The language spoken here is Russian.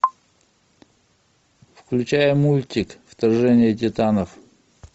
включай мультик вторжение титанов